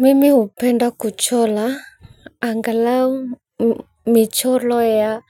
Mimi hupenda kuchora. Angalau micholo ya